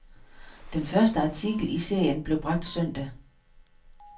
Den første artikel i serien blev bragt søndag.